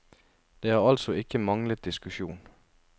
Det har altså ikke manglet diskusjon.